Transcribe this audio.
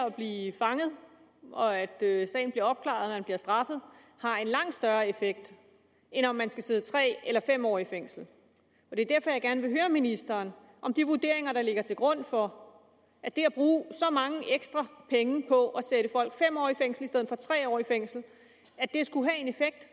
at blive fanget og at sagen bliver opklaret og man bliver straffet har en langt større effekt end om man skal sidde tre eller fem år i fængsel det er derfor jeg gerne vil høre ministeren om de vurderinger der ligger til grund for at at det at bruge så mange ekstra penge på at sætte folk fem år fængsel i stedet for tre år i fængsel skulle have en effekt